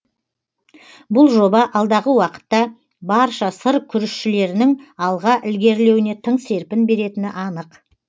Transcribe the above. бұл жоба алдағы уақытта барша сыр күрішшілерінің алға ілгерілеуіне тың серпін беретіні анық